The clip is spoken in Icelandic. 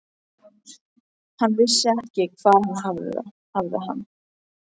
Hann vissi ekki hvar hann hafði hann.